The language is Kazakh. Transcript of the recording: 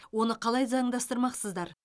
оны қалай заңдастырмақсыздар